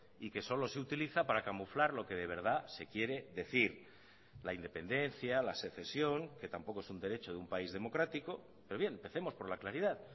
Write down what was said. y que solo se utiliza para camuflar lo que de verdad se quiere decir la independencia la secesión que tampoco es un derecho de un país democrático pero bien empecemos por la claridad